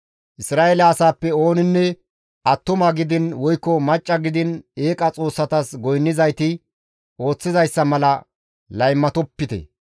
Isra7eele asaappe ooninne attuma gidiin woykko macca gidiin eeqa xoossatas goynnizayti ooththizayssa mala laymatopite.